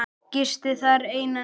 Gisti þar eina nótt.